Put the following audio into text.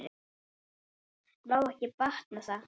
Vá, ekki batnar það!